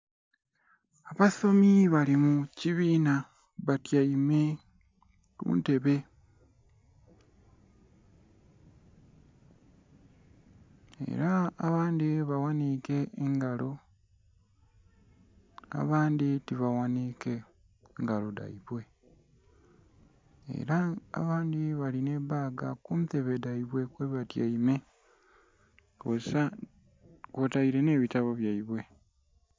Abasomi bali mu kibiina batyaime ku ntebe era abandhi baghanike engalo abandhi ti baghanhike ngalo dhaibwe era abandhi balina baaga ku ntebe dhaibwe kwe batyaime kwoteire nhe bitabo nhaibwe.